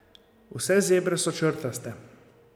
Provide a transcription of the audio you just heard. Vse zebre so črtaste.